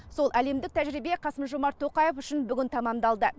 сол әлемдік тәжірибе қасым жомарт тоқаев үшін бүгін тәмамдалды